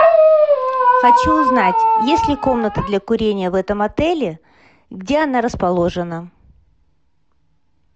хочу узнать есть ли комната для курения в этом отеле где она расположена